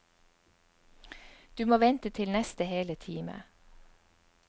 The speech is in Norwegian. Du må vente til neste hele time.